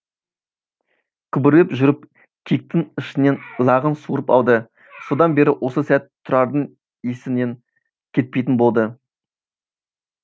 күбірлеп жүріп киіктің ішінен лағын суырып алды содан бері осы сәт тұрардың есінен кетпейтін болды